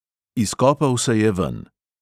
Izkopal se je ven.